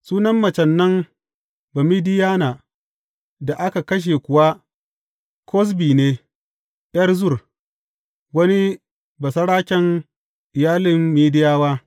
Sunan macen nan Bamidiyana da aka kashe kuwa Kozbi ne, ’yar Zur, wani basaraken iyalin Midiyawa.